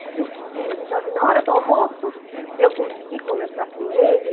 Mas eu fiquei ansiosa e na hora do almoço eu consegui conversar com ele.